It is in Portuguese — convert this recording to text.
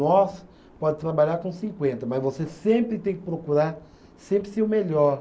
Nossa, pode trabalhar com cinquenta, mas você sempre tem que procurar sempre ser o melhor.